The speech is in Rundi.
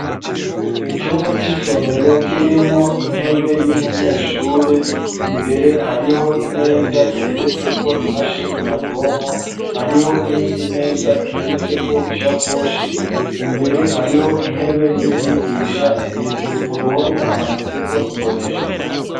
Icumba c'isomero kirimwo intebe y'umunyeshure imbere hariho imeza iteretseko imashini nyabwonko hariho n'indi meza iteretseko ishakoshi imbere hariho intebe y'umwigisha hejuru ku ruhome hamanitseko imbonesha kure